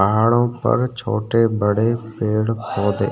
पहाड़ों पर छोटे बड़े पेड़ पौधे --